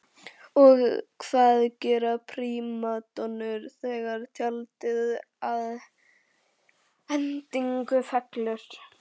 Og hvað gera prímadonnur þegar tjaldið að endingu fellur?